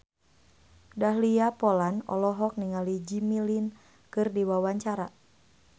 Dahlia Poland olohok ningali Jimmy Lin keur diwawancara